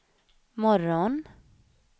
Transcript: morgon